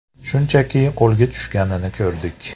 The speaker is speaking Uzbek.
Shunchaki qo‘lga tushganini ko‘rdik.